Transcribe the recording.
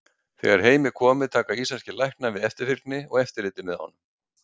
Þegar heim er komið taka íslenskir læknar við eftirfylgni og eftirliti með honum.